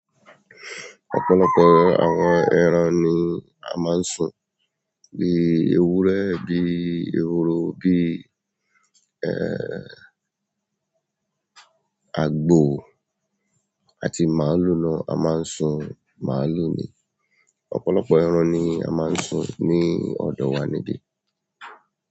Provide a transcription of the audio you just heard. Ọ̀pọ̀lọpọ̀ àwọn ẹran ni a máa ń sin. Bíi ewúrẹ́, bíi ehoro, bíi, ẹ́, àgbò àti màlúù náà, a máa ń sin màlúù ni. Ọ̀pọ̀lọpọ̀ ẹran ni a máa ń sin ní ọ̀dọ̀ wa níbi.